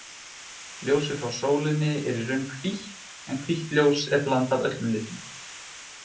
Ljósið frá sólinni er í raun hvítt en hvítt ljós er blanda af öllum litum.